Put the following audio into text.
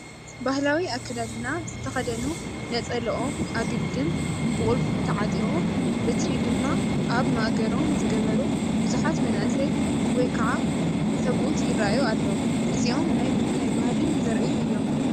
ባህላዊ ኣከዳድና ዝተኸደኑ ነፀለኦም ኣግልድም ብቁልፊ ተዓጢቖም በትሪ ድማ ኣብ ማእገሮም ዝገበሩ ብዙሓት መናእሰይ ወይ ከዓ ሰብኡት ይራኣዩ ኣለው፡፡ እዚኦም ናይ ምንታይ ባህሊ ዘርእዩ አዮም?